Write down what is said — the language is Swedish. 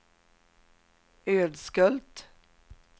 Ödskölt